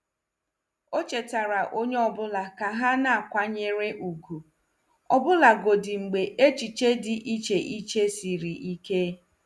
O chetaara onye ọ bụla ka ha na-akwanyere ùgwù, ọbụlagodi mgbe echiche dị iche iche siri ike.